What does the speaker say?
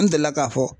N delila k'a fɔ